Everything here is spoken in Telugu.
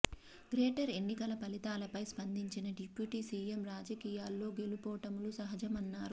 గ్రేటర్ ఎన్నికల ఫలితాలపై స్పందించిన డిప్యూటీ సీఎం రాజకీయాల్లో గెలుపోటములు సహజమన్నారు